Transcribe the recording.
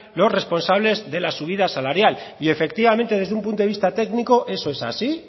los responsables de la subida salarial y efectivamente desde un punto de vista técnico eso es así